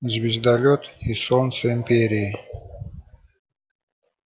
звездолёт и солнце империи